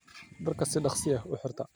Dhaarka sii dogsii ah uxirta.